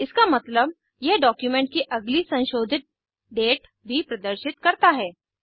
इसका मतलब यह डॉक्यूमेंट की अगली संशोधित डेट भी प्रदर्शित करता है